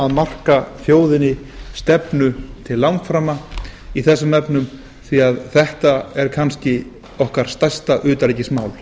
marka þjóðinni stefnu til langframa í þessum efnum því að þetta er kannski okkar stærsta utanríkismál